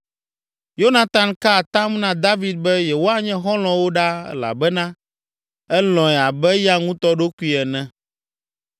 Yonatan ka atam na David be yewoanye xɔlɔ̃wo ɖaa elabena elɔ̃e abe eya ŋutɔ ɖokui ene.